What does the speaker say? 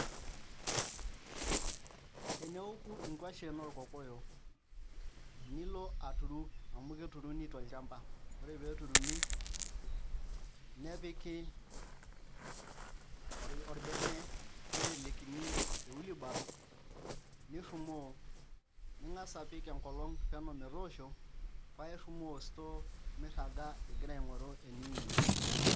Teneoku nkuashen orkokoyo nilo aturu amu eketuruni tolchamba ore pee eturuni nepiki orbene nitelekini ewheelbarrow nirrumoo ning'as apik enkolong' peno metooshon paairumoo store mirraga igira aing'oru eniimie.